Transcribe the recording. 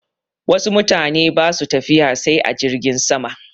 Wasu mutane ba su tafiya sai a jirgin sama.